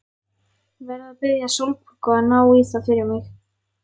Verð að biðja Sólborgu að ná í það fyrir mig.